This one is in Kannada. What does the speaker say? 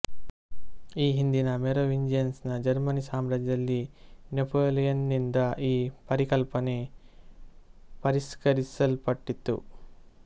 ಈ ಹಿಂದಿನ ಮೆರೊವಿಂಜಿಯನ್ಸ್ ನ ಜರ್ಮನಿ ಸಾಮ್ರಾಜ್ಯದಲ್ಲಿ ನೆಪೊಲಿಯನ್ ನಿಂದ ಈ ಪರಿಕಲ್ಪನೆ ಪರಿಷ್ಕರಿಸಲ್ಪಟ್ಟಿತ್ತು